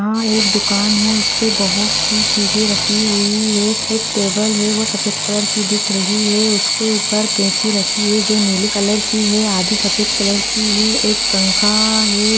यहाँ एक दुकान उस पे बहुत सी चीजे रखी हुयी है। एक टेबल है वो सफ़ेद कलर की दिख रही है उसके ऊपर कैची रखी है जो नीले कलर की है आधी सफेद कलर की है। एक पखा है।